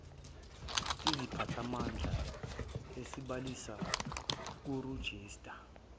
isiphathimandla esibhalisayo kurejista